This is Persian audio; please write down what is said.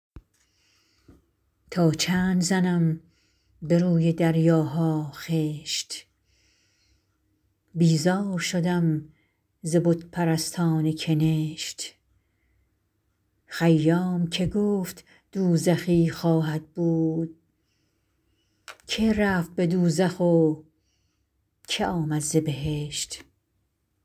تا چند زنم به روی دریاها خشت بیزار شدم ز بت پرستان کنشت خیام که گفت دوزخی خواهد بود که رفت به دوزخ و که آمد ز بهشت